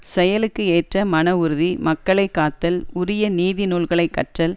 செயலுக்கு ஏற்ற மன உறுதி மக்களை காத்தல் உரிய நீதி நூல்களை கற்றல்